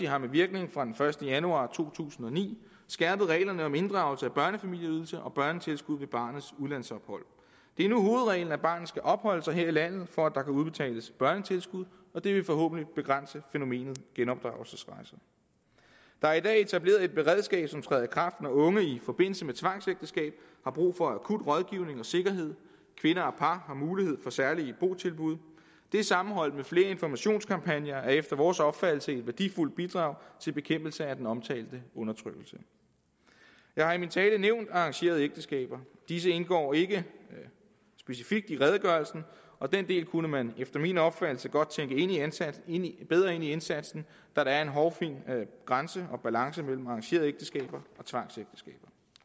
har med virkning fra den første januar to tusind og ni skærpet reglerne om inddragelse af børnefamilieydelse og børnetilskud ved barnets udlandsophold det er nu hovedreglen at barnet skal opholde sig her i landet for at der kan udbetales børnetilskud og det vil forhåbentlig begrænse fænomenet genopdragelsesrejser der er i dag etableret et beredskab som træder i kraft når unge i forbindelse med tvangsægteskab har brug for akut rådgivning og sikkerhed kvinder og par har mulighed for særlige botilbud det er sammenholdt med flere informationskampagner efter vores opfattelse et værdifuldt bidrag til bekæmpelse af den omtalte undertrykkelse jeg har i min tale nævnt arrangerede ægteskaber disse indgår ikke specifikt i redegørelsen og den del kunne man efter min opfattelse godt tænke bedre ind i indsatsen da der er en hårfin grænse og balance mellem arrangerede ægteskaber